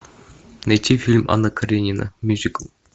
найти фильм анна каренина мюзикл